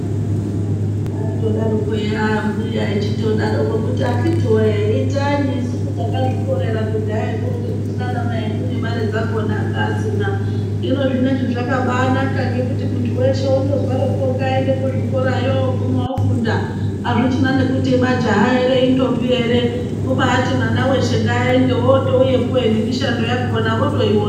Aindodaroko eya aambuya ehitodaroko kuti akhiti woye itanyi isusu takazvikorera kudhayakwo ngekuti naana mai edu nemare dzakhona anga asina. Hino zvineizvi zvakabaanaka ngekuti muntu weshe wondozwaroko ngayende kuzvikorayo ooguma ofunda azvichina nekuti majaha ere, indombi ere kubaati mwana weshe ngaayende wootouyapo he nemishando yakhona votoyiwona.